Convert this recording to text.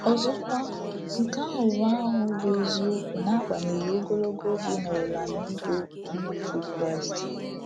Ọzọkwa, nke ahụ bụ ahụ bụ eziokwu n’agbanyeghị ogologo oge ị nọrọla n'ịbụ Onye otu Kraịst.